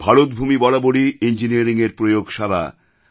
ভারতভূমি বরাবরই ইঞ্জিনিয়ারিংয়ের প্রয়োগশালা